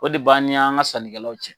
O de b'ani an ka sannikɛlaw cɛ.